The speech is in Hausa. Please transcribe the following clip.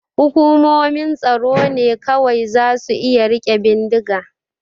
Hukumomin tsaro ne kawai za su iya rike bindiga.